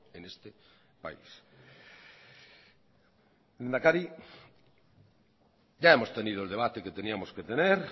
en este país lehendakari ya hemos tenido el debate que teníamos que tener